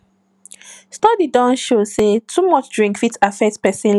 study don show sey too much drink fit affect person liver liver